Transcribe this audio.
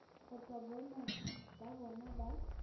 kgotsa boemo ba bona ba